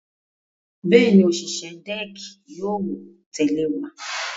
Bẹ́ẹ̀ni, òṣìṣẹ́ dẹ́ẹ̀kì yóò tẹ̀lé wa.